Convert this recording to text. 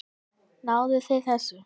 Náðuð þið þessu?